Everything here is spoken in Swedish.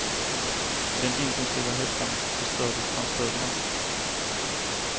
I den intensiva hettan förstördes hans stövlar.